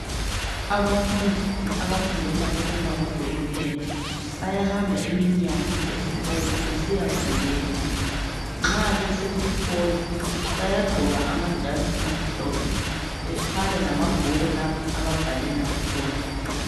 Abafundi abafundela ukuba ngodokotela bayahamba iminyaka esikolo besiyafundela nxa besesikolo bayagqoka amajazi amhlophe bathwele amabhuku lapho ababhalela khona.